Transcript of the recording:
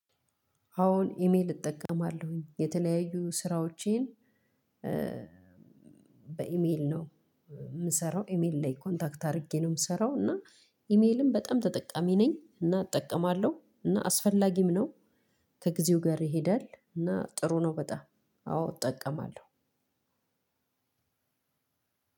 አዎን ኢሜል እጠቀማለሁኝ የተለያዩ ስራዎቼን በኢሜል ነው የምሰራው ኢሜል ላይ ኮንታክት አድርጌ ነው የምሰራው። እና ኢሜልም በጣም ተጠቃሚ ነኝ እና እጠቀማለሁ እና አስፈላጊም ነው። ከጊዜው ጋር ይሄዳል እና ጥሩ ነው። በጣም አዎ እጠቀማለሁ።